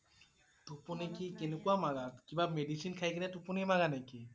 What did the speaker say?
টোপনি কি কেনেকুৱা মাৰা? কিবা medicine খাই কেনে টোপনি মাৰা নেকি?